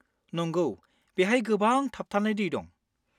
नंगौ, बेहाय गोबां थाबथानाय दै दं।